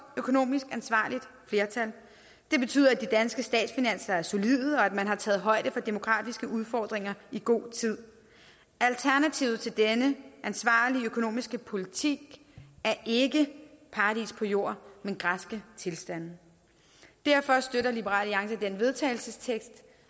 økonomisk ansvarligt flertal og det betyder at de danske statsfinanser er solide og at man har taget højde for demografiske udfordringer i god tid alternativet til denne ansvarlige økonomiske politik er ikke paradis på jord men græske tilstande og derfor støtter liberal alliance den vedtagelsestekst